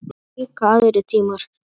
Það voru líka aðrir tímar.